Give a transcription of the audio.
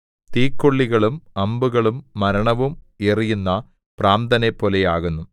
തീക്കൊള്ളികളും അമ്പുകളും മരണവും എറിയുന്ന ഭ്രാന്തനെപ്പോലെയാകുന്നു